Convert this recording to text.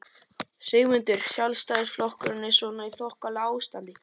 Sigmundur: Sjálfstæðisflokkurinn er svona í þokkalegu ástandi?